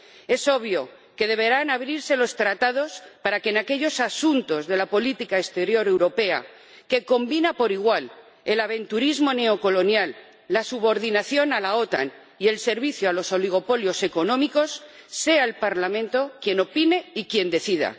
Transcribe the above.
Es obvio que deberán abrirse los Tratados para que, en los asuntos de la política exterior europea, que combina por igual el aventurerismo neocolonial, la subordinación a la OTAN y el servicio a los oligopolios económicos, sea el Parlamento quien opine y quien decida.